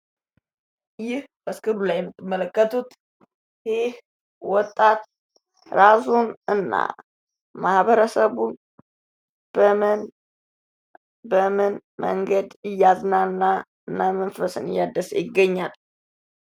ይህ በስክሪኑ ላይ የምትመለከቱት ይህ ወጣት እራሱን እና ማህበረሰቡን በምን በምን መንገድ እያዝናና እና መንፈስን እያደሰ ይገኛል?